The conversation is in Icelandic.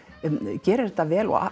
gerir þetta vel og